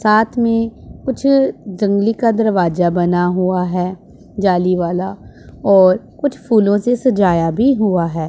साथ में कुछ जंगली का दरवाजा बना हुआ है जाली वाला और कुछ फूलों से सजाया भी हुआ है।